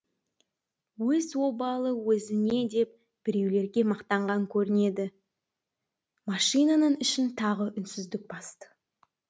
өз обалы өзіне деп біреулерге мақтанған көрінеді машинаның ішін тағы үнсіздік басты